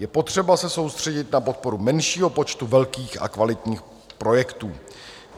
Je potřeba se soustředit na podporu menšího počtu velkých a kvalitních projektů.